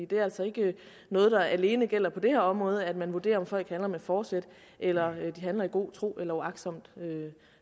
det er altså ikke noget der alene gælder på det her område at man vurderer om folk handler med forsæt eller de handler i god tro eller uagtsomt